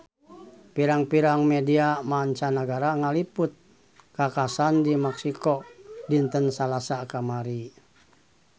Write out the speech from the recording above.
Pirang-pirang media mancanagara ngaliput kakhasan di Meksiko dinten Salasa kamari